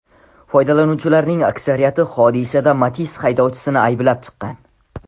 Foydalanuvchilarning aksariyati hodisada Matiz haydovchisini ayblab chiqqan.